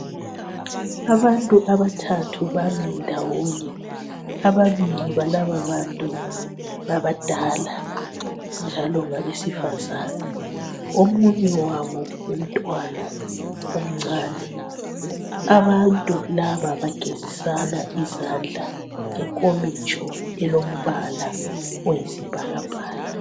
Abantu abathathu bami ndawonye ababili balaba bantu ngabadala njalo ngabesifazana omunye wabo ngumntwana omncane abantu laba bagezisana izandla ngenkomitsho elombala oyisibhakabhaka.